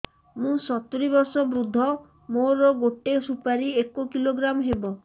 ମୁଁ ସତୂରୀ ବର୍ଷ ବୃଦ୍ଧ ମୋ ଗୋଟେ ସୁପାରି ଏକ କିଲୋଗ୍ରାମ ହେବ